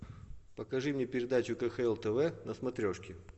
покажи мне передачу кхл тв на смотрешке